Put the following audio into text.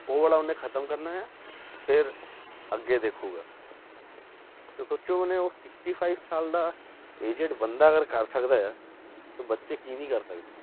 ਉਹ ਵਾਲਾ ਉਹਨੇ ਖ਼ਤਮ ਕਰਨਾ ਆ ਫਿਰ ਅੱਗੇ ਦੇਖੇਗਾ ਤੇ ਸੋਚੋ ਉਹਨੇ ਉਹ sixty five ਸਾਲ ਦਾ aged ਬੰਦਾ ਅਗਰ ਕਰ ਸਕਦਾ ਆ ਤਾਂ ਬੱਚੇ ਕੀ ਨੀ ਕਰ ਸਕਦੇ